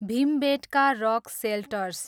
Bhimbetka rock shelters